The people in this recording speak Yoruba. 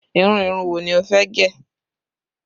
Irú irun wo ni ó fẹ́ gẹ̀?